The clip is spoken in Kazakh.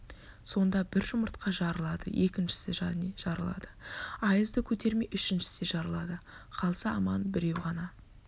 сонда бір жұмыртқа жарылады екіншісі және жарылады аязды көтермей үшіншісі де жарылады қалса аман біреу ғана